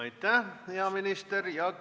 Aitäh, hea minister!